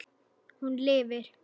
Hún lifir.